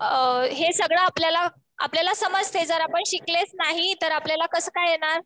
हे सगळं आपल्याला समजते. जर आपण शिकलेच नाही तर आपल्यलाला कसं काय येणार?